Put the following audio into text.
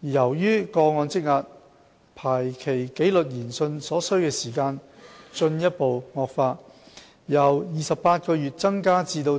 由於個案積壓，排期紀律研訊所需時間進一步惡化，由28個月增加至約